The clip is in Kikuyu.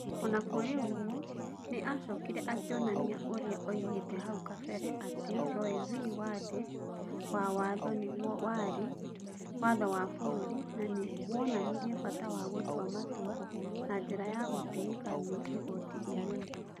O na kũrĩ ũguo, nĩ aacokire akĩonania ũrĩa oigĩte hau kabere atĩ Roe v. Wade wa Wtho nĩguo warĩ "watho wa bũrũri", na nĩ wonanirie bata wa gũtua matua na njĩra ya gũtĩĩka nĩ Igooti Inene.